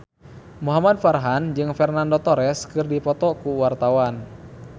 Muhamad Farhan jeung Fernando Torres keur dipoto ku wartawan